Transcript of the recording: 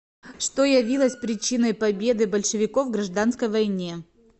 что явилось причиной победы большевиков в гражданской войне